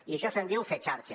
i d’això se’n diu fer xarxa